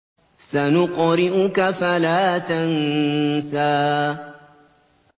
سَنُقْرِئُكَ فَلَا تَنسَىٰ